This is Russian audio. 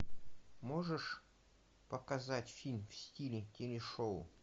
можешь показать фильм в стиле телешоу